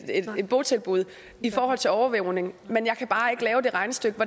botilbud i forhold til overvågning men jeg kan bare ikke lave det regnestykke